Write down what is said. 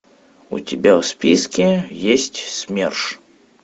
у тебя в списке есть смерш